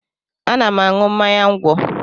Ana m aṅụ mmanya ńgwọ